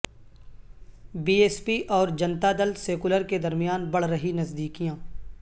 be S P اور Janata Dal secular کے درمیان بڑھ رہی نزدیکیاں